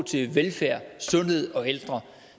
til velfærd sundhed og ældre